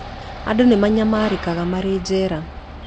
Andũ nĩ manyamarĩkaga marĩ njera